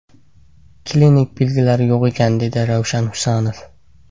Klinik belgilari yo‘q ekan”, dedi Ravshan Husanov.